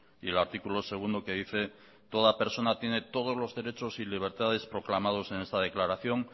y el articulo segundo que dice toda personas tiene todos los derechos y libertades proclamados en esta declaración